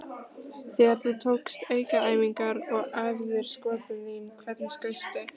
Þegar þú tókst aukaæfingar og æfðir skotin þín, hvernig skaustu?